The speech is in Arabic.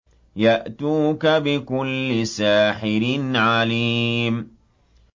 يَأْتُوكَ بِكُلِّ سَاحِرٍ عَلِيمٍ